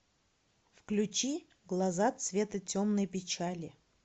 включи глаза цвета темной печали